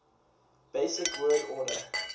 basic word order